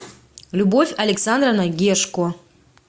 любовь александровна гешко